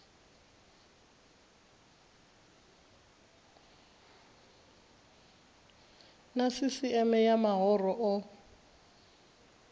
na sisieme ya mahoro o